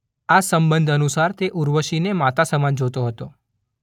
આ સંબંધ અનુસાર તે ઉર્વશીને માતા સમાન જોતો હતો.